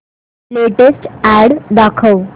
latest ad दाखव